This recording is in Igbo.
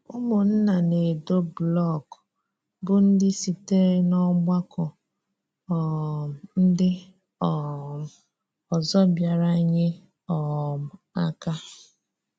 Ụmụnna na-edo blọkụ bụ́ ndị sitere n’ọ́gbakọ um ndị um ọzọ bịàrà nye um àká.